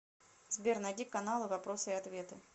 сбер найди каналы вопросы и ответы